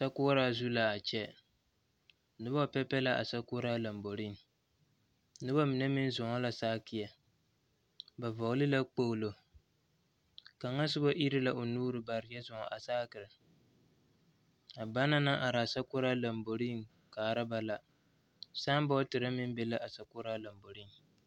sokoɔraa zu la a kyɛ, noba bebe la a sokoɔraa lambori noba mine meŋ zʋŋ la sakie ba vɔgeli la kpolo a kaŋa soba iri la o nuuri baare kyɛ zʋŋ a sakiri a banaŋ naŋ are a sokoɔre zu kaara ba la saaboditeere meŋ be la a sokoɔraa lambori kaŋa